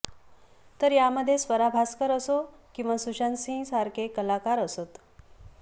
तर यामध्ये स्वरा भास्कर असो किंवा सुशांत सिंह सारखे कलाकार असोत